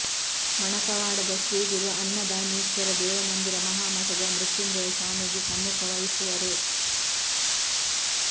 ಮಣಕವಾಡದ ಶ್ರೀಗುರು ಅನ್ನದಾನೀಶ್ವರ ದೇವಮಂದಿರ ಮಹಾಮಠದ ಮೃಂತ್ಯುಜಯ ಸ್ವಾಮೀಜಿ ಸಮ್ಮುಖ ವಹಿಸುವರು